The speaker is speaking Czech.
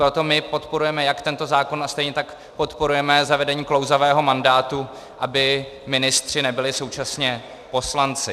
Proto my podporujeme jak tento zákon a stejně tak podporujeme zavedení klouzavého mandátu, aby ministři nebyli současně poslanci.